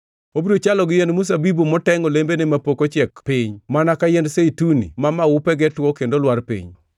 Obiro chalo gi yiend mzabibu motengʼ olembene mapok ochiek piny mana ka yiend zeituni ma maupege two kendo lwar piny.